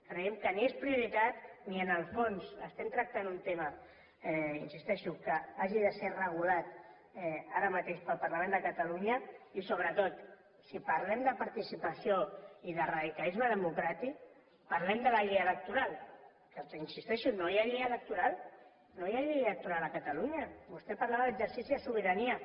creiem que ni és prioritat ni en el fons estem tractant un tema hi insisteixo que hagi de ser regulat ara mateix pel parlament de catalunya i sobretot si parlem de participació i de radicalisme democràtic parlem de la llei electoral que hi insisteixo no hi ha llei electoral no hi ha llei electoral a catalunya vostè parlava d’exercici de sobirania